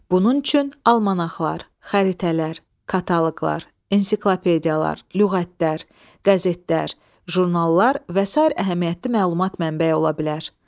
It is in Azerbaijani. Bunun üçün almanaxlar, xəritələr, kataloqlar, ensiklopediyalar, lüğətlər, qəzetlər, jurnallar və sair əhəmiyyətli məlumat mənbəyi ola bilər.